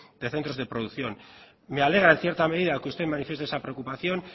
de centros de producción me alegra en cierta medida que usted manifieste esa preocupación